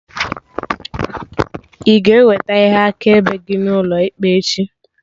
Ị ga-eweta ihe akaebe gị n'ụlọ ikpe echi?